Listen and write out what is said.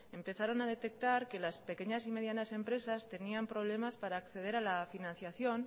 empezaron a detectar que las pequeñas y medianas empresas tenían problemas para acceder a la financiación